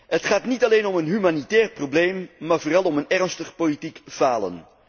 Het gaat niet alleen om een humanitair probleem, maar vooral om een ernstig politiek falen.